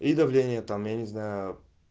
и давление там я не знаю